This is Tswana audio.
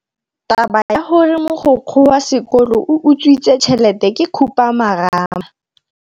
Taba ya gore mogokgo wa sekolo o utswitse tšhelete ke khupamarama.